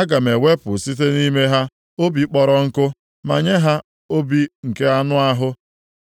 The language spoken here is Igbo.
Aga m ewepụ site nʼime ha obi kpọrọ + 11:19 Ya bụ, obi nkume nkụ ma nye ha obi nke anụ ahụ.